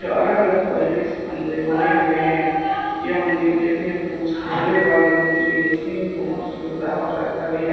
यह अलग अलग क्वालिटीज़ के मंदिर बने हुए है यह मंदिर देखने में कुछ भोले बाबा के मंदिर के जैसे लगता भी है।